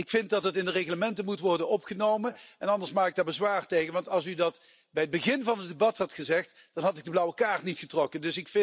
Ik vind dat dit in het Reglement moet worden opgenomen. Anders maak ik daar bezwaar tegen, want als u dat bij het begin van het debat had gezegd, had ik de blauwe kaart niet getrokken.